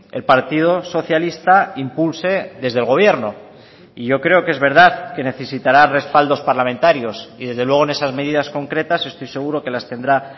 el partido socialista impulse desde el gobierno y yo creo que es verdad que necesitará respaldos parlamentarios y desde luego en esas medidas concretas estoy seguro que las tendrá